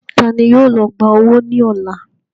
Taani yóò lọ gbà owó ní ọ̀la?